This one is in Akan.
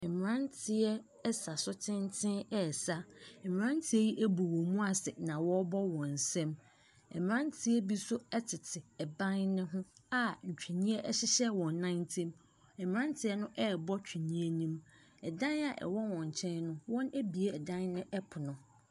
Mmeranteɛ sa so tenten ɛresa, mmeranteɛ yi abu wɔn mu ase na wɔrebɔ wɔn nsam. Mmeranteɛ bi nso tete ban ne ho a ntwene hyehyɛ wɔn nan ntam, mmeranteɛ no ɛrebɔ tweneɛ no. Dan a ɛɔ wɔn nkyɛn no, wɔabue dan ne pono.